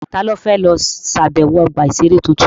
Ta ló fẹ́ lọ ṣàbẹ̀wọ̀ ọgbà-ìṣeré tuntun?